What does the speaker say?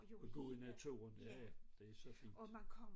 Gå i naturen ja ja det er så fint